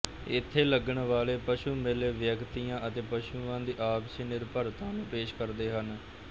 ਇਥੇ ਲੱਗਣ ਵਾਲੇ ਪਸ਼ੂ ਮੇਲੇ ਵਿਅਕਤੀਆਂ ਅਤੇ ਪਸ਼ੂਆਂ ਦੀ ਆਪਸੀ ਨਿਰਭਰਤਾ ਨੂੰ ਪੇਸ਼ ਕਰਦੇ ਹਨ